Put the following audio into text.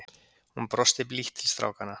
Hún brosti blítt til strákanna.